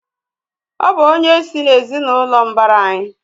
Ọ bụ onye sị́ n'ezinụlọ mbara anyị